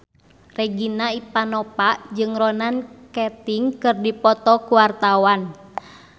Regina Ivanova jeung Ronan Keating keur dipoto ku wartawan